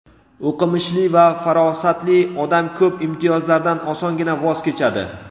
O‘qimishli va farosatli odam ko‘p imtiyozlardan osongina voz kechadi.